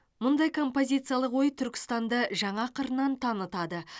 мұндай композициялық ой түркістанды жаңа қырынан танытады